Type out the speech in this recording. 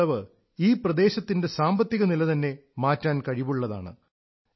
ഈ വിളവ് ഈ പ്രദേശത്തിന്റെ സാമ്പത്തികനില തന്നെ മാറ്റാൻ കഴിവുള്ളതാണ്